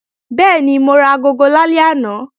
Bẹ́ẹ̀ni, mo ra agogo lálẹ́ àná